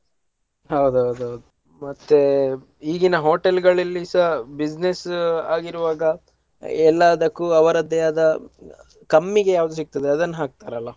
ಹೌದೌದೌದು ಮತ್ತೆ ಈಗಿನ hotel ಗಳಲ್ಲಿಸ business ಆಗಿರುವಾಗ ಎಲ್ಲಾದಕ್ಕೂ ಅವ್ರದ್ದೇ ಆದ ಕಮ್ಮಿಗೆ ಯಾವ್ದು ಸಿಗ್ತದೆ ಅದನ್ನ ಹಾಕ್ತಾರಲ್ಲ.